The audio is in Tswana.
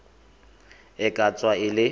e ka tswa e le